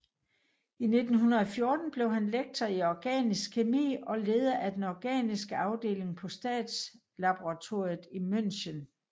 I 1914 blev han lektor i organisk kemi og leder af den organiske afdeling på Statslaboratoriet i München